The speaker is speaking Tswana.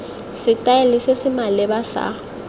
setaele se se maleba sa